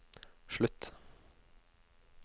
slutt